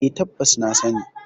E, tabbas na sani.